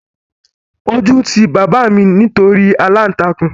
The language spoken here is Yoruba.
Ojú ti bàbá mi nítorí aláǹtakùn